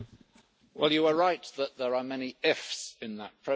You are right that there are many ifs' in that process.